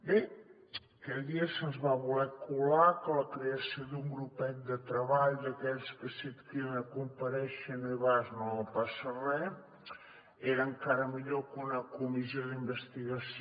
bé aquell dia se’ns va voler colar que la creació d’un grupet de treball d’aquells que si et criden a comparèixer i no hi vas no passa res era encara millor que una comissió d’investigació